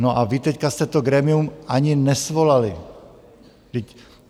No a vy teď jste to grémium ani nesvolali.